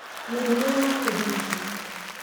Mĩrimũ ya kũhihia